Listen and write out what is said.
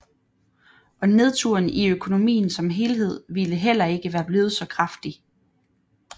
Og nedturen i økonomien som helhed ville heller ikke være blevet så kraftig